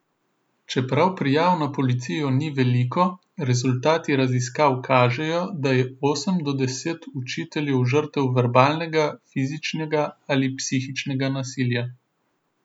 Čeprav prijav na policijo ni veliko, rezultati raziskav kažejo, da je osem od deset učiteljev žrtev verbalnega, fizičnega ali psihičnega nasilja.